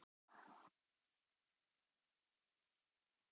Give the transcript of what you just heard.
Verður maður ekki að finna jákvæða punkta útúr þessu?